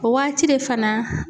O waati de fana